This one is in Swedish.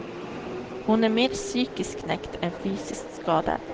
Hon är mer psykiskt knäckt än fysiskt skadad.